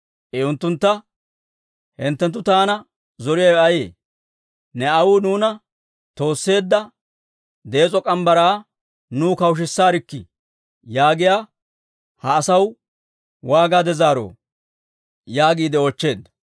I unttuntta, «Hinttenttu taana zoriyaawe ayee? ‹Ne aawuu nuuna toosseedda dees'o morgge mitsaa nuw kawushisaarkkii› yaagiyaa ha asaw waagaade zaaroo?» yaagiide oochcheedda.